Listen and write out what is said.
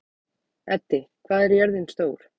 Eddi, hvað er jörðin stór?